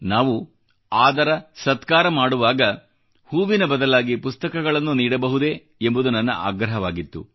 ನಾವು ಆದರ ಸತ್ಕಾರ ಮಾಡುವಾಗ ಹೂವಿನ ಬದಲಾಗಿ ಪುಸ್ತಕಗಳನ್ನು ನೀಡಬಹುದೇ ಎಂಬುದು ನನ್ನ ಆಗ್ರಹವಾಗಿತ್ತು